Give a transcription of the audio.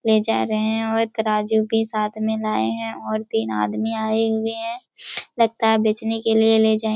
ले जा रहे है और तराजू भी साथ में लाये है और तीन आदमी आये हुए है लगता है बेचने के लिए ले जाये--